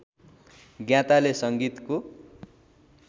ज्ञाताले सँगीतको